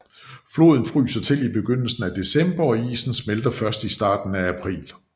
Floden fryser til i begyndelsen af december og isen smelter først i starten af april